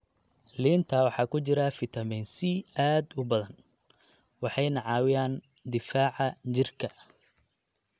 Liinta waxaa ku jira fiitamiin C aad u badan, waxayna caawiyaan difaaca jirka.